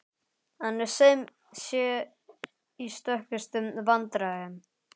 Hann er sem sé í stökustu vandræðum!